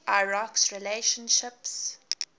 iraq s relationships